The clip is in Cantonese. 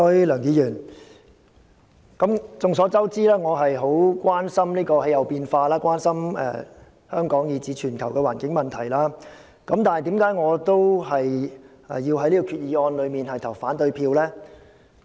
梁議員，眾所周知，我十分關注氣候變化和香港以至全球的環境問題，但為何我會就這項決議案投反對票呢？